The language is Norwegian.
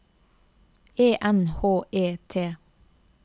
E N H E T